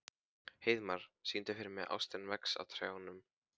Heiðmar, syngdu fyrir mig „Ástin vex á trjánum“.